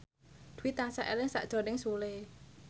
Dwi tansah eling sakjroning Sule